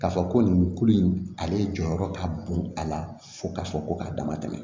K'a fɔ ko nin kulu in ale jɔyɔrɔ ka bon a la fo ka fɔ ko k'a dama tɛmɛ